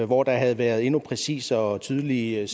hvor der havde været endnu mere præcise og tydelige